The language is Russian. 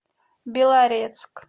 белорецк